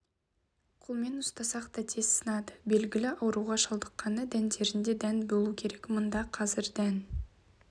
қолмен ұстасақ та тез сынады белгілі ауруға шалдыққаны дәндерінде дән болу керек мында қазір дән